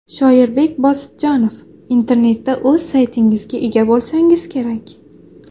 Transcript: Shoirbek Bosidjonov Internetda o‘z saytingizga ega bo‘lsangiz kerak.